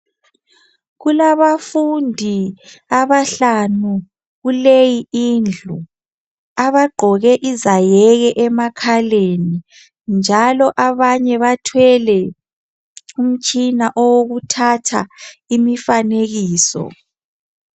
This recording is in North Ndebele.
Kulabafundi abahlanu, kuleyi indlu abagqoke izayeke emakhaleni, njalo abanye bathwele umitshina yokuthatha imifanekiso.